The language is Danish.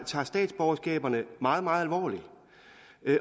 tager statsborgerskabet meget meget alvorligt